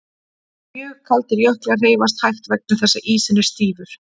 Mjög kaldir jöklar hreyfast hægt vegna þess að ísinn er stífur.